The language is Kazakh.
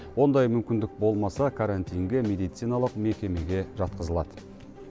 ондай мүмкіндік болмаса карантинге медициналық мекемеге жатқызылады